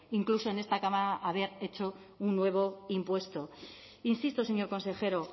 incluso en esta cámara haber hecho un nuevo impuesto insisto señor consejero